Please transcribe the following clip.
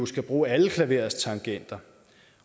skal bruge alle klaverets tangenter